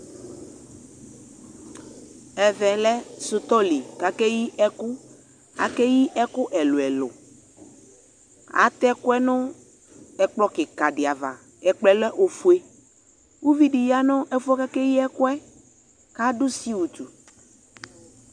Ɛvɛ lɛ sutɔli kake yi ɛku Ake yi ɛku ɛluɛlu Atɛ ɛkuɛ no ɛkplɔ kika de ava Ɛkplɔɛ lɛ ofue Uvi de ya no ɛfuɛ ake yi ɛkuɛ kado siwutu